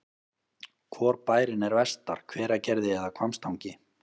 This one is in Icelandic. Hvor bærinn er vestar, Hveragerði eða Hvammstangi?